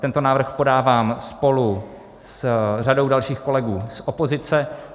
Tento návrh podávám spolu s řadou dalších kolegů z opozice.